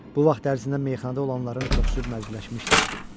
Bu vaxt ərzində meyxanada olanların çoxu məclisləşmişdi.